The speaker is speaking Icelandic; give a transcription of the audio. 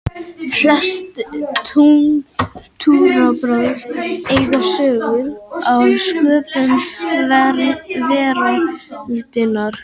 Flest trúarbrögð eiga sögur af sköpun veraldarinnar.